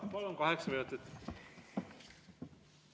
Palun, kaheksa minutit!